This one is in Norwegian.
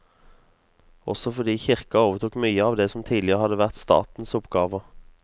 Også fordi kirka overtok mye av det som tidligere hadde vært statens oppgaver.